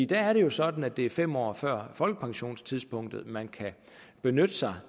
der er det jo sådan at det er fem år før folkepensionstidspunktet man kan benytte sig